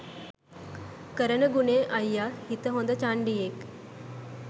කරන ගුණෙ අයියා හිත හොඳ චණ්ඩියෙක්